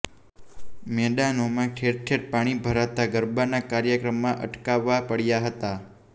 મેદાનોમા ંઠેરઠેર પાણી ભરાતા ગરબાના કાર્યક્રમમાં અટકાવવા પડયા હતાં